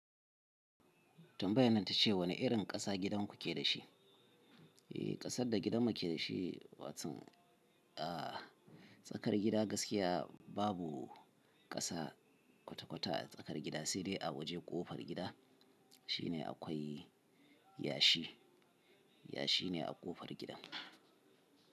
Tambayenan itace wane irin ƙasa gidanku keda shi? Eh, ƙasar da gidanmu ke da shi, watan, a tsakar gida gaskiya babu ƙasa kwata-kwata a tsakar gida sai dai a waje ƙofar gida shine akwai yashi. Yashi ne a ƙofar gida.